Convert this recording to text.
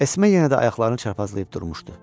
Esme yenə də ayaqlarını çarpazlayıb durmuşdu.